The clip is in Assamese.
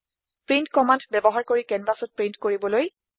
প্ৰিণ্ট কম্মান্দ ব্যৱহাৰ কৰি কেনভাচত প্ৰীন্ট কৰিবলৈ